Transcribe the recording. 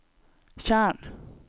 tjern